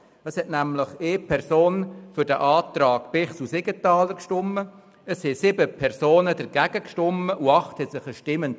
Eine Person stimmte für den Antrag Siegenthaler/Bichsel, sieben Personen stimmten Nein und acht enthielten sich der Stimme.